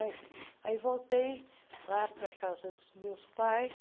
Aí voltei lá para a casa dos meus pais,